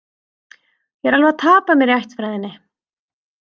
Ég er alveg að tapa mér í ættfræðinni